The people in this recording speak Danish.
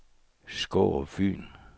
Skårup Fyn